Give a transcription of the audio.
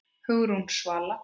Hugrún Svala.